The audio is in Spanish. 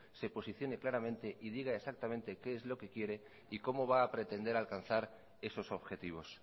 se posicione claramente y diga exactamente qué es lo que quiere y cómo va a pretender alcanzar esos objetivos